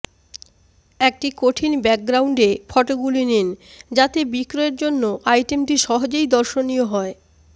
একটি কঠিন ব্যাকগ্রাউন্ডে ফটোগুলি নিন যাতে বিক্রয়ের জন্য আইটেমটি সহজেই দর্শনীয় হয়